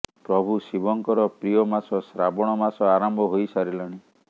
ପ୍ରଭୁ ଶିବଙ୍କର ପ୍ରିୟ ମାସ ଶ୍ରାବଣ ମାସ ଆରମ୍ଭ ହୋଇସାରିଲାଣି